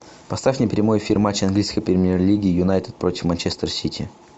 поставь мне прямой эфир матча английской премьер лиги юнайтед против манчестер сити